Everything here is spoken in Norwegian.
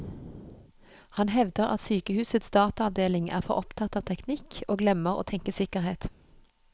Han hevder at sykehusets dataavdeling er for opptatt av teknikk, og glemmer å tenke sikkerhet.